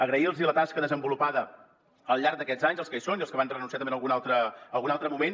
agrair los la tasca desenvolupada al llarg d’aquests anys als que hi són i als que hi van renunciar també en algun altre moment